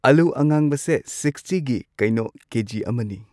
ꯑꯂꯨ ꯑꯉꯥꯡꯕꯁꯦ ꯁꯤꯛꯁꯇꯤꯒꯤ ꯀꯩꯅꯣ ꯀꯦꯖꯤ ꯑꯃꯅꯤ꯫